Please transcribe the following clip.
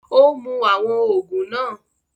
Ó mú àwọn òògùn náà